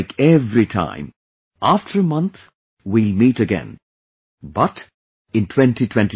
Like every time, after a month, we will meet again, but, in 2022